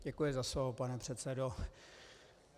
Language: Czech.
Děkuji za slovo, pane předsedo.